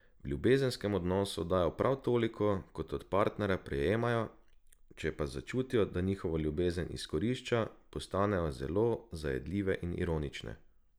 V ljubezenskem odnosu dajo prav toliko, kot od partnerja prejmejo, če pa začutijo, da njihovo ljubezen izkorišča, postanejo zelo zajedljive in ironične.